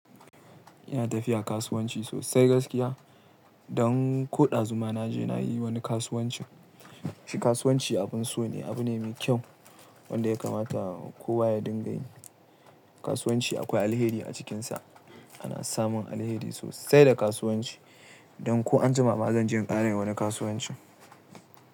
Ina tafiya kasuwanci sosai gaskiya. Don ko ɗazu ma naje na yi wani kasuwancin. Shi kasuwanci abin so ne, abu ne mai kyau wanda ya kamata kowa ya dinga yi. Kasuwanci akwai alheri a cikinsa. Ana samun alheri sosai da kasuwanci. Don ko anjima ma zan je in ƙara wani kasuwancin.